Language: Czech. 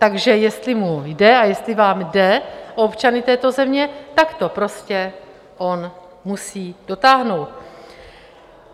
Takže jestli mu jde - a jestli vám jde - o občany této země, tak to prostě on musí dotáhnout.